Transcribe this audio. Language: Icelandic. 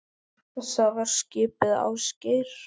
Það var skipið Ásgeir